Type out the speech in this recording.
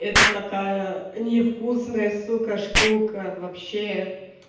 это такая невкусная сука штука вообще